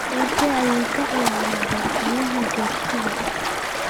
Doorkee ayuu ka ciyaaraa xoghayaha joogtada ah?